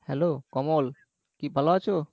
hello Kamal কি ভালো আছো?